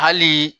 Hali